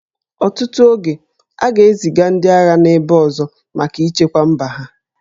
Ọtụtụ oge, a ga-eziga ndị agha n'ebe ọzọ maka ichekwa mba ha